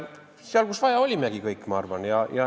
Seal, kus vaja, olimegi kõik, ma arvan.